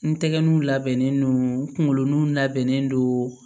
N tɛgɛ nun labɛnnen don n kungolo ni labɛnnen don